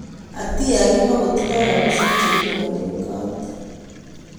Atia kimokotindo rabisiek che kilipone kot.